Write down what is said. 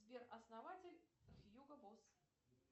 сбер основатель хьюго босс